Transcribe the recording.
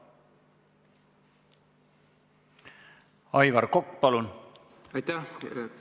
Aivar Kokk, palun!